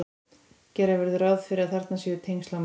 gera verður ráð fyrir að þarna séu tengsl á milli